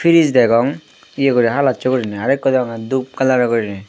fridge degong ye guri halocche gurine arokko degonge dup color gurine.